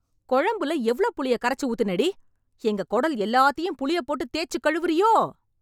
கொழம்புல எவ்ளோ புளிய கரைச்சு ஊத்துனேடி? எங்க குடல் எல்லாத்தையும் புளியப் போட்டு தேய்ச்சு கழுவுறியோ?